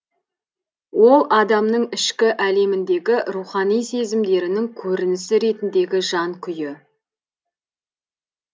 ол адамның ішкі әлеміндегі рухани сезімдерінің көрінісі ретіндегі жан күйі